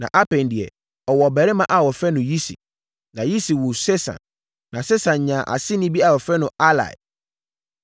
na Apaim deɛ, ɔwoo ɔbabarima a wɔfrɛ no Yisi. Na Yisi woo Sesan. Na Sesan nyaa nʼaseni bi a wɔfrɛ no Ahlai.